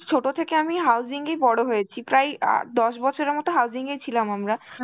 ছোট থেকে আমি housing এ ই বড় হয়েছি, প্রায় অ্যাঁ দশ বছরের মতন housing এ ই ছিলাম আমরা